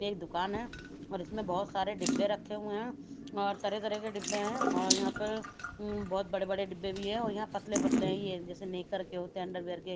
एक दुकान है और इसमें बहोत सारे डब्बे रखे हुए हैं और तरह तरह के डिब्बे हैं और यहां पे बहोत बड़े-बड़े डिब्बे भी है और यहां पतले-पतले हैं ये जैसे नेकर के होते है अंडरवियर के --